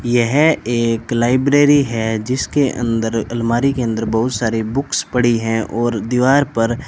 यह एक लाइब्रेरी है जिसके अंदर अलमारी के अंदर बहोत सारे बुक्स पड़ी हैं और दीवार पर --